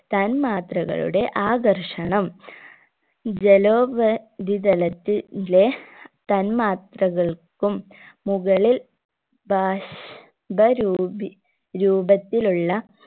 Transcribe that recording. തന്മാത്രകളുടെ ആകർഷണം ജലോപ രിതലത്തി ലെ തന്മാർത്തകൾക്കും മുകളിൽ ബാഷ്പ രൂപി രൂപത്തിലുള്ള